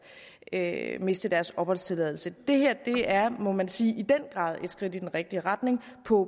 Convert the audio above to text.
at miste deres opholdstilladelse det her er må man sige i den grad et skridt i den rigtige retning på